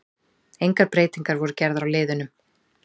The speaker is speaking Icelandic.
Engar breytingar voru gerðar á liðunum.